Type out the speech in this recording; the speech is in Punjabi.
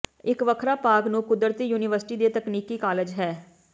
ਇੱਕ ਵੱਖਰਾ ਭਾਗ ਨੂੰ ਕੁਦਰਤੀ ਯੂਨੀਵਰਸਿਟੀ ਦੇ ਤਕਨੀਕੀ ਕਾਲਜ ਹੈ